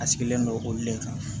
A sigilen don olu le kan